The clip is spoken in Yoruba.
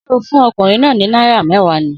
Sẹ́ o fun okùnrin náà ni náírà mewa ni?